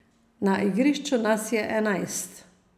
Na igrišču nas je enajst.